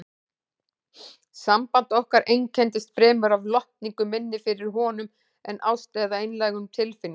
Samband okkar einkenndist fremur af lotningu minni fyrir honum en ást eða einlægum tilfinningum.